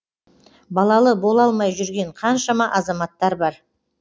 балалы бола алмай жүрген қаншама азаматтар бар